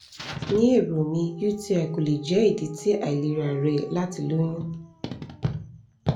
ni ero mi uti ko le jẹ idi ti ailera rẹ lati loyun